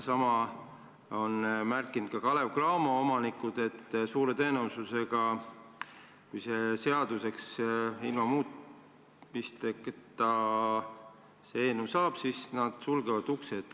Sama on märkinud ka Kalev/Cramo omanikud: suure tõenäosusega on nii, et kui see eelnõu ilma muutmata seaduseks saab, siis nad sulgevad uksed.